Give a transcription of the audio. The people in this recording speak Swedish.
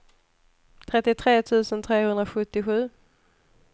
trettiotre tusen trehundrasjuttiosju